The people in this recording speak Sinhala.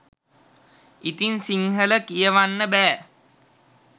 ඉතින් සිංහල කියවන්න බෑ.